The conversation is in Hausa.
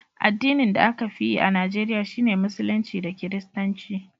addinin da a ka fi yi a Najeriya shi ne musulunci da kiristanci